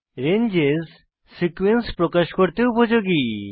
ranges sequence প্রকাশ করতে উপযোগী